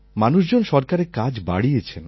মানুষজন সরকারের কাজ বাড়িয়েছেন